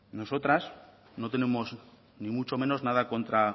nosotras no tenemos ni mucho menos nada contra